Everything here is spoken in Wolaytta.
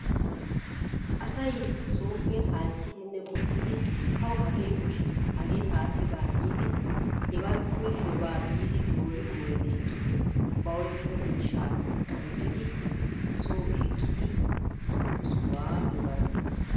Asay sopee halchidinne qopiddi tawu hagee koshessi hage tasi bawa gidi heba koydoba bidi dori doridi ekidi ba oykidi misha qanxidi so ekiddi yiyo sohuwaa giyoga.